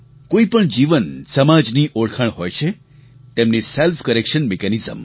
કોઈ પણ જીવનસમાજની ઓળખાણ હોય છે તેમની સેલ્ફ કરેક્શન મિકેનિઝમ